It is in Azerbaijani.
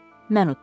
Mən udum.